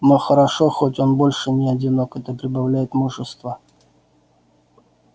но хорошо хоть он больше не одинок это прибавляет мужества